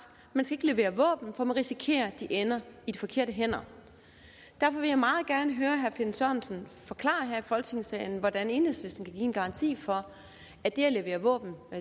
man skal ikke levere våben for man risikerer de ender i de forkerte hænder derfor vil jeg meget gerne høre herre finn sørensen forklare her i folketingssalen hvordan enhedslisten kan give en garanti for at det at levere våben